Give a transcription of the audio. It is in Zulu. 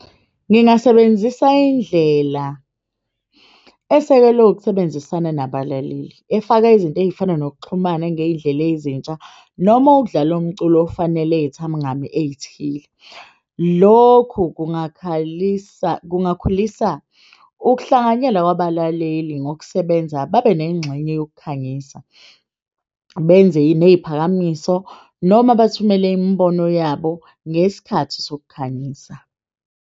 Ngingasebenzisa indlela esekelwe ukusebenzisana nabalaleli efaka izinto, ey'fana nokuxhumana ngey'ndlela ezintsha noma ukudlala umculo ofanele ey'thile. Lokhu kungakhalisa kungakhulisa ukuhlanganyela kwabalaleli ngokusebenza. Babe nengxenye yokukhangisa benze ney'phakamiso noma bathumele imibono yabo ngesikhathi sokukhangisa.